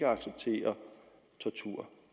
acceptere tortur